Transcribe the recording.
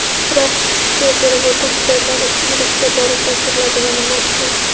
Biroq qishki perevodda hujjatlar ishchi guruhga borib topshiriladi va nima uchun?.